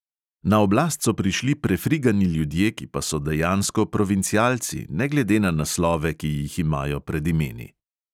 Na oblast so prišli prefrigani ljudje, ki pa so dejansko provincialci, ne glede na naslove, ki jih imajo pred imeni.